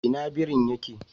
Ina birin ya ke?